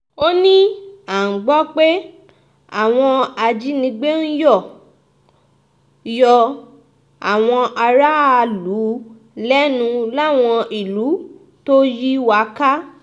ó ní à ń gbọ́ pé àwọn ajínigbé ń yọ yọ àwọn aráàlú lẹ́nu láwọn ìlú tó yí wa ká